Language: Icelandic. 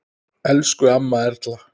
Elsku amma Erla.